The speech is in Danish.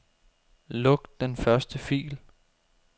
Luk den første fil.